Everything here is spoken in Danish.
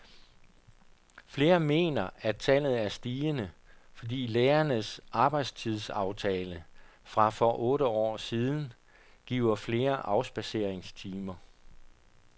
Flere mener, at tallet er stigende, fordi lærernes arbejdstidsaftale fra for otte år siden giver flere afspadseringstimer.